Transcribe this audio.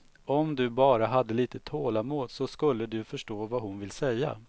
Om du bara hade lite tålamod så skulle du förstå vad hon vill säga.